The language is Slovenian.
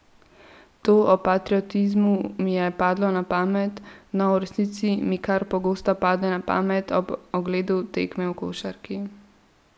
To o patriotizmu mi je padlo na pamet, no v resnici mi kar pogosto pade na pamet, ob ogledu tekme v košarki.